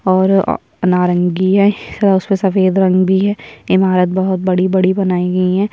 और नारंगीय और उसमे सफ़ेद रंग भी है ईमारत बहुत बड़ी - बड़ी बनाई गई है।